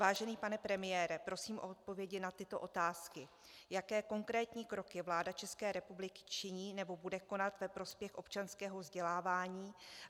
Vážený pane premiére, prosím o odpovědi na tyto otázky: Jaké konkrétní kroky vláda České republiky činí nebo bude konat ve prospěch občanského vzdělávání?